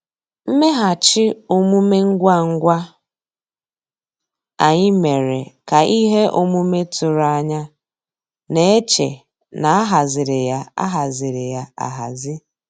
Mmèghàchị́ òmùmé ngwá ngwá ànyị́ mérè ká íhé òmùmé tụ̀rụ̀ ànyá ná-èchè ná á hàzírí yá á hàzírí yá áhàzí.